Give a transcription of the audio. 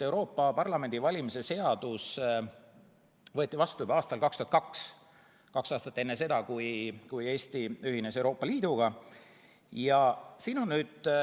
Euroopa Parlamendi valimise seadus võeti vastu juba aastal 2002, kaks aastat enne, kui Eesti Euroopa Liiduga ühines.